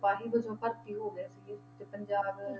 ਸਿਪਾਹੀ ਵਜੋਂ ਭਰਤੀ ਹੋ ਗਏ ਸੀਗੇ, ਤੇ ਪੰਜਾਬ